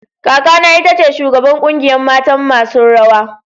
Kaka na ita ce shugaban kungiyan matan masun rawa.